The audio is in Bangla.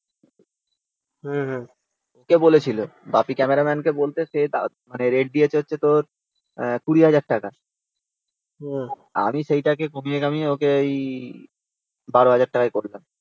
বাপি ক্যামেরাম্যান কে বলতে। সে রেট দিয়েছে হচ্ছে তোর twenty thousand টাকা। আমি সেটাকে কমিয়ে কামিয়ে ওকে ওই twelve thousand টাকায় করলাম